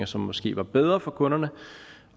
som måske var bedre for kunderne